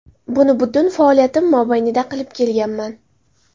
Buni butun faoliyatim mobaynida qilib kelganman.